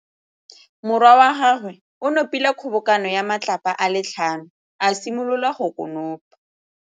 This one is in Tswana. Morwa wa gagwe o nopile kgobokanô ya matlapa a le tlhano, a simolola go konopa.